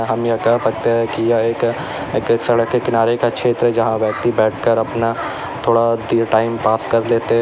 हम यह कह सकते हैं कि यह एक सड़क के किनारे का क्षेत्र है जहां व्यक्ति बैठकर अपना थोड़ा देर टाइम पास कर लेते--